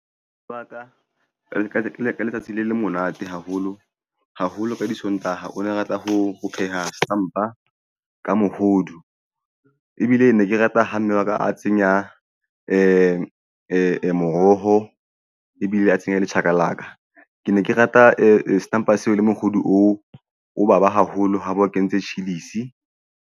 Ba ka leka letsatsi le monate haholo haholo ka disontaha o ne a rata ho pheha stampo ka mohodu ebile ne ke rata ha mme wa ka a tsenya moroho ebile a tshenye le chakalaka. Ke ne ke rata e stamp le mohodu o baba haholo haeba o kentse chillis.